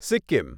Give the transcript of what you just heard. Sikkim